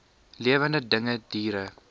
lewende dinge diere